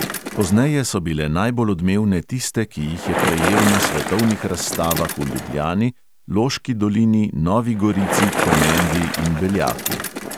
Pozneje so bile najbolj odmevne tiste, ki jih je prejel na svetovnih razstavah v ljubljani, loški dolini, novi gorici, komendi in beljaku.